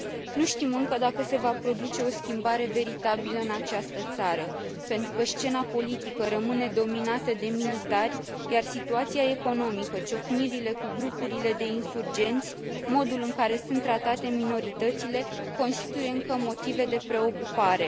Nu știm încă dacă se va produce o schimbare veritabilă în această țară pentru că scena politică rămâne dominată de militari, iar situația economică, ciocnirile cu grupurile de insurgenți, modul în care sunt tratate minoritățile constituie încă motive de preocupare.